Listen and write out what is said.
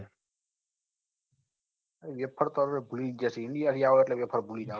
wafer હવે ભૂલી ગયા છે india થી આવે એટલે ભૂલી જવા